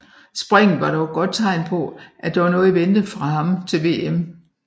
Springet var dog et godt tegn på at der var noget i vente fra ham til VM